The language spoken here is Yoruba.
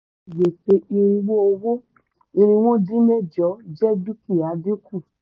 àkáǹtì gbèsè irínwó owó irínwó dín mẹ́jọ jẹ́ dúkìá dínkù.